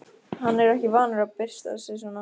Hann er ekki vanur að byrsta sig svona.